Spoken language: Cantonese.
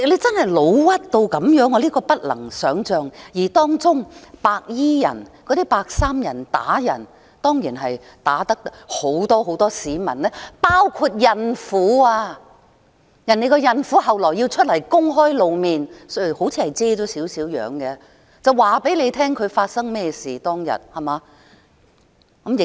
真的不能想象，而當中白衣人打人，打了很多市民，其中包括孕婦，而這位孕婦後來也公開露面——她似乎也把部分樣貌遮掩——告訴大家當時事發經過，對嗎？